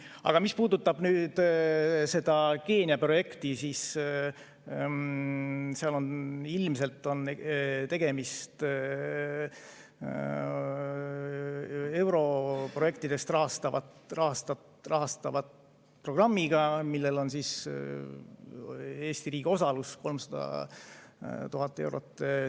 Aga mis puudutab seda Keenia projekti, siis seal on ilmselt tegemist europrojektidest rahastatava programmiga, millel on Eesti riigi osalus 300 000 eurot.